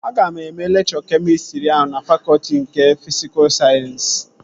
Aga eme lekchọ kemịstrị ahụ na fakọtị nke fisikul sayensị